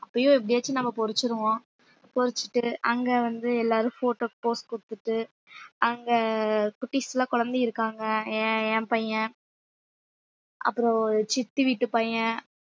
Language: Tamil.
அப்பையும் எப்படியாச்சும் நம்ம பறிச்சுருவோம் பறிச்சுட்டு அங்க வந்து எல்லாரும் photo க்கு pose குடுத்துட்டு அங்க குட்டீஸ் எல்லாம் குழந்தை இருக்காங்க என் என் பையன் அப்புறம் சித்தி வீட்டு பையன்